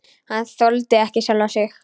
Hann þoldi ekki sjálfan sig.